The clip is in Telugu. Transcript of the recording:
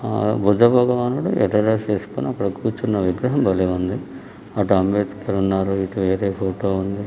ఆ బుద్ధ భగవానుడు ఎర్ర డ్రస్ వేసుకుని అక్కడ కూర్చున్న విగ్రహం భలే ఉంది. అటు అంబేతకర్ ఉన్నారు.ఇటు వేరే ఫోటో ఉంది.